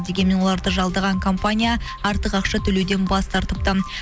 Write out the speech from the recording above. дегенмен оларды жалдаған компания артық ақша төлеуден бас тартыпты